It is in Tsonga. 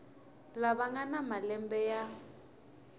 lava nga na malembe ya